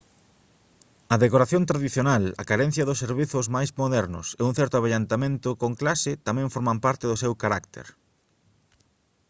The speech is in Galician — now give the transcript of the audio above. a decoración tradicional a carencia dos servizos máis modernos e un certo avellentamento con clase tamén forman parte do seu carácter